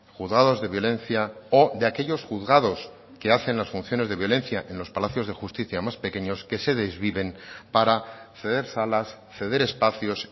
juzgados de violencia o de aquellos juzgados que hacen las funciones de violencia en los palacios de justicia más pequeños que se desviven para ceder salas ceder espacios